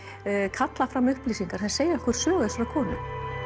kallað fram upplýsingar sem segja okkur sögu þessarar konu